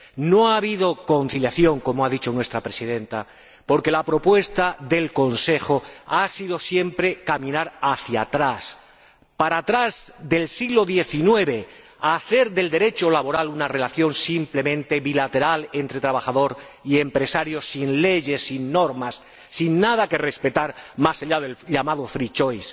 No ha habido conciliación, como ha dicho nuestra presidenta, porque la propuesta del Consejo ha sido siempre caminar hacia atrás, para atrás del siglo XIX, a hacer del Derecho laboral una relación simplemente bilateral entre trabajador y empresario, sin leyes, sin normas, sin nada que respetar más allá del llamado free choice